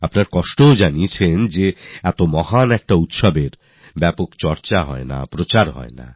আপনি যন্ত্রণার কথাও বলেছেন এত গুরুত্বপূর্ণ বিষয়ের কোনও চর্চা হয় না ব্যাপক প্রচার হয় না